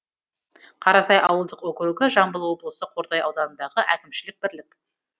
қарасай ауылдық округі жамбыл облысы қордай ауданындағы әкімшілік бірлік